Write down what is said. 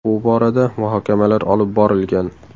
Bu borada muhokamalar olib borilgan.